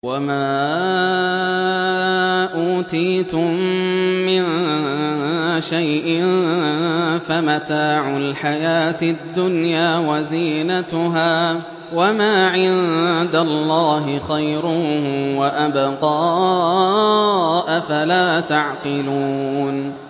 وَمَا أُوتِيتُم مِّن شَيْءٍ فَمَتَاعُ الْحَيَاةِ الدُّنْيَا وَزِينَتُهَا ۚ وَمَا عِندَ اللَّهِ خَيْرٌ وَأَبْقَىٰ ۚ أَفَلَا تَعْقِلُونَ